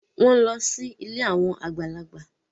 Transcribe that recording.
Wọ́n ń lọ sí ilé àwọn àgbàlagbà